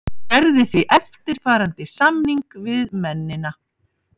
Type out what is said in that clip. Hann gerði því eftirfarandi samning við mennina.